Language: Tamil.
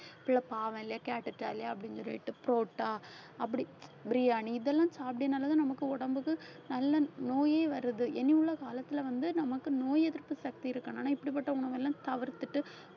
பிள்ளை பாவம் இல்லையா கேட்டுட்டாலே அப்படின்னு சொல்லிட்டு porotta அப்படி biriyani இதெல்லாம் சாப்பிட்டதுனாலதான் நமக்கு உடம்புக்கு நல்ல நோயே வர்றது இனி உள்ள காலத்துல வந்து நமக்கு நோய் எதிர்ப்பு சக்தி இருக்கணும் ஆனா இப்படிப்பட்ட உணவு எல்லாம் தவிர்த்துட்டு